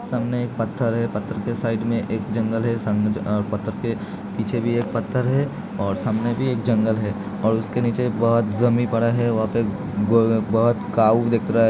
सामने एक पथर है। पथर के साइड में एक जंगल है सामने पथर के पीछे भी एक पथर है और सामने भी एक जंगल है और उसके नीचे बहुत जमीन पर है वहा पे अ बहुत कावू दिख रहा है --